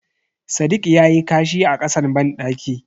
Sadiq yayi kashi a kasan bandaki.